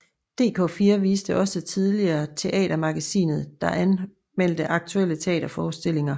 Dk4 viste også tidligere Teatermagasinet der anmeldte aktuelle teaterforestillinger